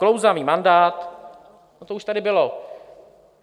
Klouzavý mandát, to už tady bylo.